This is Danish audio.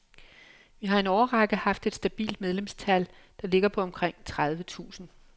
Vi har i en årrække haft et stabilt medlemstal, der ligger på omkring tredive tusind.